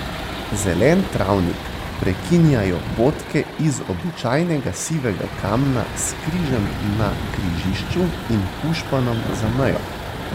Zelen travnik prekinjajo potke iz običajnega sivega kamna s križem na križišču in pušpanom za mejo.